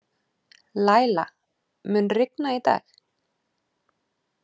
Læla, mun rigna í dag?